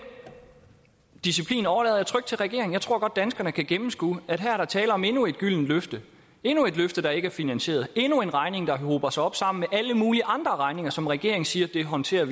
disciplin overlader jeg trygt til regeringen jeg tror godt danskerne kan gennemskue at her er der tale om endnu et gyldent løfte endnu et løfte der ikke er finansieret endnu en regning der hober sig op sammen med alle mulige andre regninger som regeringen siger de håndterer